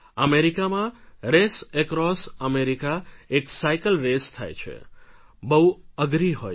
અમેરિકામાં રેસએક્રોસઅમેરિકા એક cycle race થાય છે બહુ અઘરી હોય છે